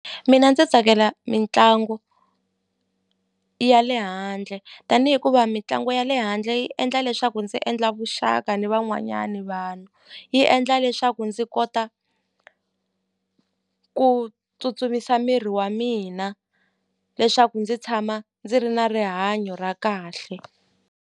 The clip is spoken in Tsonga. Mina ndzi tsakela mitlangu ya le handle tanihi hikuva mitlangu ya le handle yi endla leswaku ndzi endla vuxaka ni van'wanyani vanhu yi endla leswaku ndzi kota ku tsutsumisa miri wa mina leswaku ndzi tshama ndzi ri na rihanyo ra kahle.